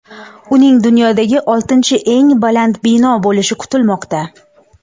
Uning dunyodagi oltinchi eng baland bino bo‘lishi kutilmoqda.